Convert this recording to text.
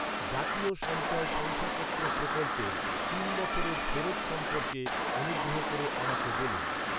জাতীয় সঞ্চয় শংসাপত্র প্রকল্পের তিন বছরের ফেরত সম্পর্কে অনুগ্রহ করে আমাকে বলুন।